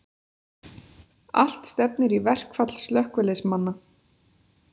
Allt stefnir í verkfall slökkviliðsmanna